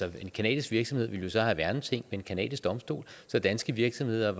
at en canadisk virksomhed så ville have værneting en canadisk domstol så danske virksomheder